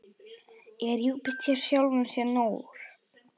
Er Júpíter sjálfum sér nógur?